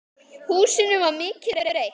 Húsinu var mikið breytt.